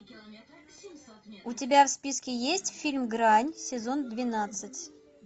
у тебя в списке есть фильм грань сезон двенадцать